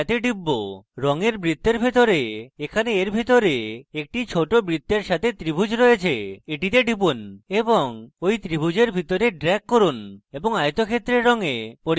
রঙের বৃত্তের ভিতরে এখানে এর ভিতরে একটি ছোট বৃত্তের সাথে ত্রিভুজ রয়েছে এটিতে টিপুন এবং এই ত্রিভুজের ভিতরে drag করুন এবং আয়তক্ষেত্রের রঙে পরিবর্তন দেখুন